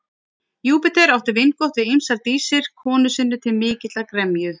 Júpíter átti vingott við ýmsar dísir konu sinni til mikillar gremju.